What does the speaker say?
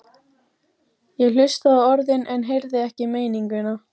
Ég hlustaði á orðin en heyrði ekki meininguna.